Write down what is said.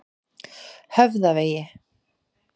Höfðavegi